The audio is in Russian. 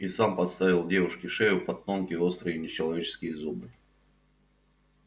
и сам подставил девушке шею под тонкие острые нечеловеческие зубы